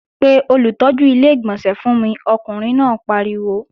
Pe olùtọ́jú Ilé-ìgbọ̀nsẹ̀ fún mi! Ọkùnrin náà pariwo